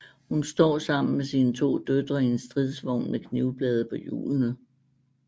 Hun står sammen med sine to døtre i en stridsvogn med knivblade på hjulene